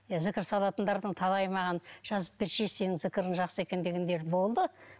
иә зікір салатындардың талайы маған жазып берсеңші сенің зікірің жақсы екен дегендер болды